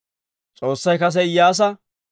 S'oossay kase Iyyaasa,